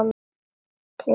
Klínist fast við það.